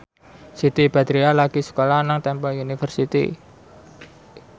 Siti Badriah lagi sekolah nang Temple University